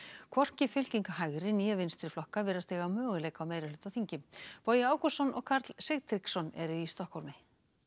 hvorki fylking hægri né vinstriflokka virðist eiga möguleika á meirihluta á þingi Bogi Ágústsson og Karl Sigtryggsson eru í Stokkhólmi